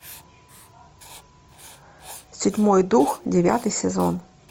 седьмой дух девятый сезон